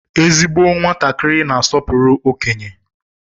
Ezigbo nwatakịrị na-asọpụrụ okenye.